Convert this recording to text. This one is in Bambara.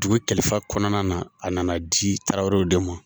Dugu kalifa kɔnɔna na, a nana di tarawelew de ma.